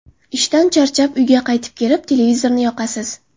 Ishdan charchab, uyga qaytib kelib, televizorni yoqasiz.